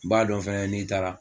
N b'a dɔn fana n'i taara